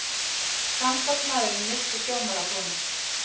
Samstarfsmaðurinn missti sjónar af honum.